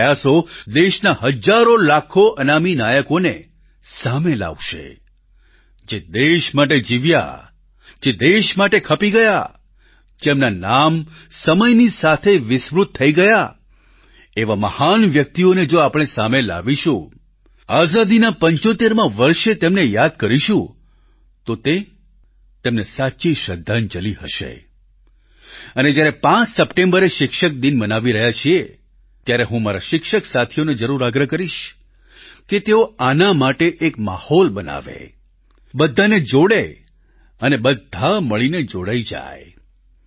આપના પ્રયાસો દેશના હજારોલાખો અનામી નાયકોને સામે લાવશે જે દેશ માટે જીવ્યા જે દેશ માટે ખપી ગયા જેમના નામ સમયની સાથે વિસ્મૃત થઈ ગયા એવા મહાન વ્યક્તિઓને જો આપણે સામે લાવીશું આઝાદીના 75મા વર્ષે તેમને યાદ કરીશું તો તે તેમને સાચી શ્રદ્ધાંજલિ હશે અને જ્યારે 5 સપ્ટેમ્બરે શિક્ષક દિન મનાવી રહ્યા છીએ ત્યારે હું મારા શિક્ષક સાથીઓને જરૂર આગ્રહ કરીશ કે તેઓ આના માટે એક માહોલ બનાવે બધાને જોડે અને બધા મળીને જોડાઈ જાય